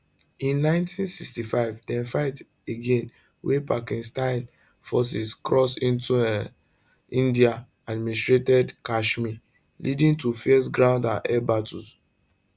in 1965 dem fight again wen pakistani forces cross into um indianadministered kashmir leading to fierce ground and air battles